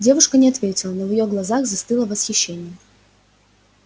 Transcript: девушка не ответила но в её глазах застыло восхищение